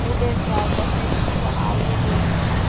পুলের চারপাশে কিছু আলো জ্বলছে।